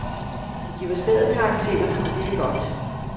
Det giver stedet karakter, og det er godt.